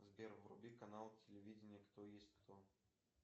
сбер вруби канал телевидения кто есть кто